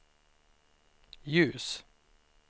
ljus